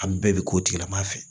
A bɛɛ bɛ k'o tigila mɔgɔ fɛ